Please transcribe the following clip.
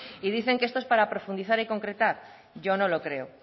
y dicen que esto es para profundizar y concretar yo no lo creo